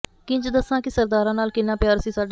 ਕਿੰਜ ਦੱਸਾਂ ਕਿ ਸਰਦਾਰਾਂ ਨਾਲ ਕਿੰਨਾ ਪਿਆਰ ਸੀ ਸਾਡਾ